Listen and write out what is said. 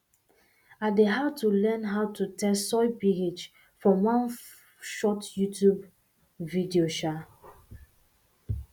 i dey how to learn how to test soil ph from one from one short youtube video um